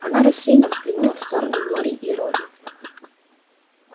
она рассеянно взглянула в сторону глории и робби